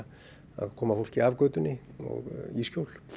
að koma fólki af götunni og í skjól